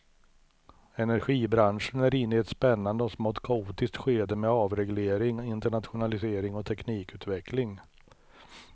Energibranschen är inne i ett spännande och smått kaotiskt skede med avreglering, internationalisering och teknikutveckling.